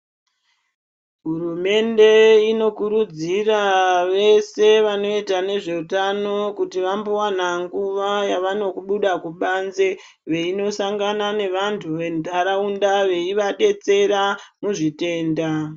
Hurumende inokurudzira vese vanoita ngezveutano kuti vambowana nguva yavanobuda kubanze, veinosangana nevanhu venharaunda veiadetsera muzvitenda.